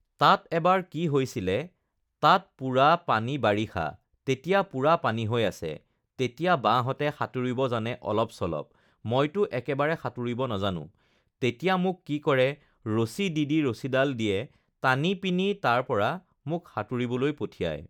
তাত এবাৰ কি হৈছিলে তাত পূৰা পানী বাৰিষা তেতিয়া পূৰা পানী হৈ আছে তেতিয়া বাহঁতে সাঁতুৰিব জানে অলপ-চলপ মইতো একেবাৰে সাঁতুৰিব নাজানো তেতিয়া মোক কি কৰে ৰছী দি দি ৰছীডাল দিয়ে টানি পিনি তাৰপৰা মোক সাঁতুৰিবলৈ পঠিয়ায়